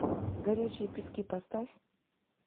горящие пески поставь